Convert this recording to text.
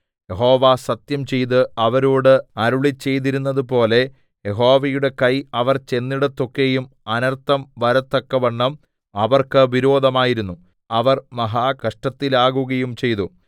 യഹോവ സത്യംചെയ്ത് അവരോട് അരുളിച്ചെയ്തിരുന്നതുപോലെ യഹോവയുടെ കൈ അവർ ചെന്നിടത്തൊക്കെയും അനർത്ഥം വരത്തക്കവണ്ണം അവർക്ക് വിരോധമായിരുന്നു അവർ മഹാകഷ്ടത്തിലാകുകയും ചെയ്തു